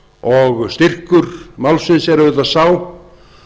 og styrkur málsins er auðvitað sá